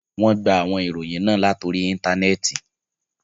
Wọn gbà àwọn ìròyìn ná lórí ìntánẹẹ̀tì.